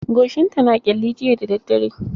Goshinta na ƙyalli jiya da daddare.